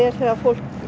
þegar fólk